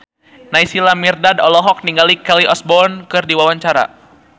Naysila Mirdad olohok ningali Kelly Osbourne keur diwawancara